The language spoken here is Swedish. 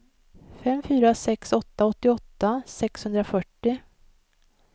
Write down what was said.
fem fyra sex åtta åttioåtta sexhundrafyrtio